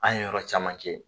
An ye yɔrɔ caman kɛ